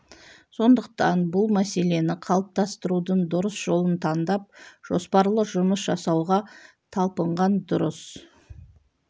сондықтан бұл мәселені қалыптастырудың дұрыс жолын таңдап жоспарлы жұмыс жасауға талпынған дұрыс